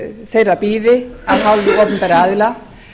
þeirra bíði af hálfu opinberra aðila